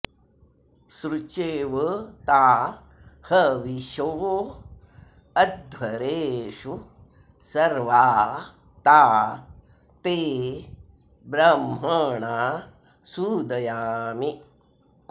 स्रु॒चेव॒ ता ह॒विषो॑ अध्व॒रेषु॒ सर्वा॒ ता ते॒ ब्रह्म॑णा सूदयामि